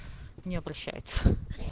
не обращается